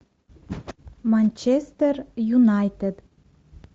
манчестер юнайтед